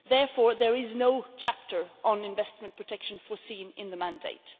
there is therefore no chapter on investment protection foreseen in the mandate.